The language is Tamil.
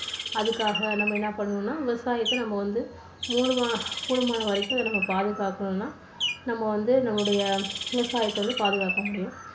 அதுக்காக நம்ம என்ன பண்ணணும்னா விவசாயத்தை நம்ம வந்து மூனுமா~கூடுமான வரைக்கும் அதை வந்து பாதுகாக்கணும்னா நம்ம வந்து நம்முடைய விவசாயத்தை வந்து பாதுகாக்க முடியும்.